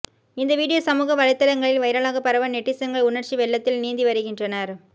இந்த வீடியோ சமூக வலைதளங்களில் வைரலாக பரவ நெட்டிசன்கள் உணர்ச்சி வெள்ளத்தில் நீந்தி வருகின்றனர்